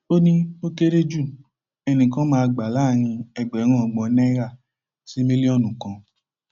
ó ní ó kéré ju ẹnì kan máa gbà láàrin ẹgbẹrún ọgbọn náírà sí mílíọnù kan